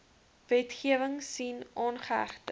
wetgewing sien aangehegte